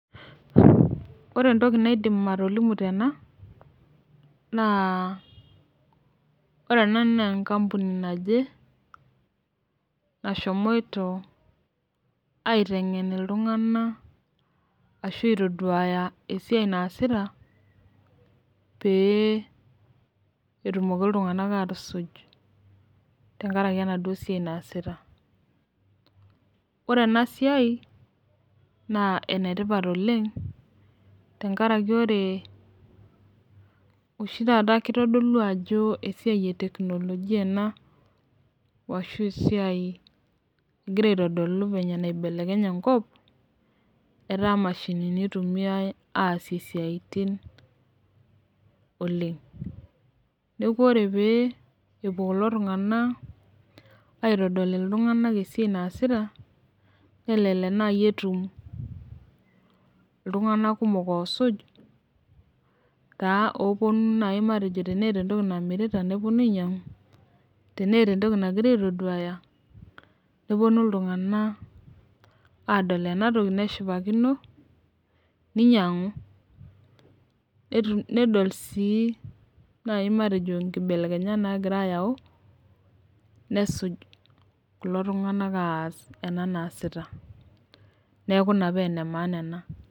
Ore ntokii naidiim atoliimu tena naa ore ena naa nkampuni najee naishomoito aiteng'en ltung'ana asho aitoduaya esia naasita pee etumooki ltung'anak atusuuj tang'araki enadoo siai naesita. Ore ena siai naa enetipaat oleng tang'ari ore oshii tataa keitodolu ajoo siai e teknolojia ena oshii siai egira aitodolu fenye naibelekenye nkoop etaa mashinini eitumia aasie siatin oleng. Neeku ore pee epoo kuloo ltung'ana aitodolu ltung'anak esiai naesita nelelek naa ketuum ltung'ana kumook oosuuj kaa oponuu naa matejoo tene eta ntokii namirita neponuu ainyang'u, tene etaa entokii negira aitoduyaa . Nepoonu ltung'ana adool ena ntokii neishipakino neinyang'u nedool sii nai matejoo nkibelekenya nagira ayau nesuuj kuloo ltung'anak aas ena naasita. Neeku naa pee ne maana ena.